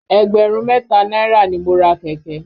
Ẹgbẹ̀rún mẹ́ta náírà ni mo ra kẹ̀kẹ́.